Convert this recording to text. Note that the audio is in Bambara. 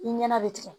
I ɲɛna bɛ tigɛ